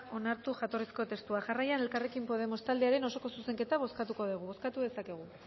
onartu jatorrizko testua jarraian elkarrekin podemos taldearen osoko zuzenketa bozkatuko dugu bozkatu dezakegu